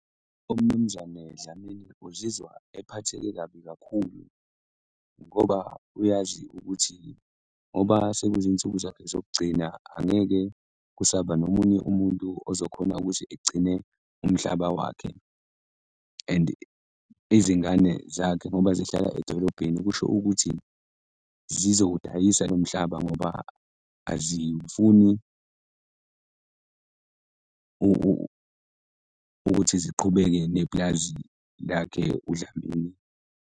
UMnumzane Dlamini uzizwa ephatheke kabi kakhulu ngoba uyazi ukuthi ngoba sekuyizinsuku zakhe zokugcina, angeke kusaba nomunye umuntu ozokhona ukuthi egcine umhlaba wakhe. And izingane zakhe ngoba zihlala edolobheni, kusho ukuthi zizowudayisa lo mhlaba ngoba azifuni ukuthi ziqhubeke nepulazi lakhe uDlamini.